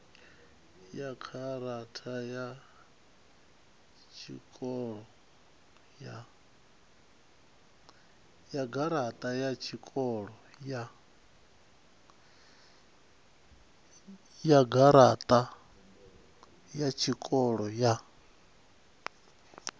ya garaṱa ya tshikoro ya